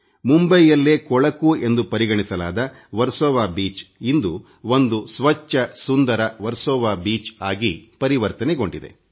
ಮುಂಬೈಯಲ್ಲೇ ಕೊಳಕು ಎಂದು ಪರಿಗಣಿಸಲಾಗಿದ್ದ ವರ್ಸೊವ ಬೀಚ್ ಇಂದು ಒಂದು ಸ್ವಚ್ಛ ಸುಂದರ ವರ್ಸೊವ ಬೀಚ್ ಆಗಿ ಪರಿವರ್ತನೆಗೊಂಡಿದೆ